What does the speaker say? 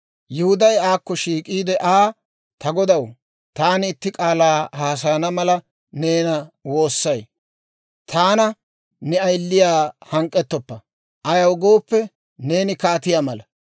Yihuday aakko shiik'iide Aa, «Ta godaw, taani itti k'aalaa haasayana mala neena woossay; taana ne ayiliyaa hank'k'ettoppa; ayaw gooppe, neeni kaatiyaa mala.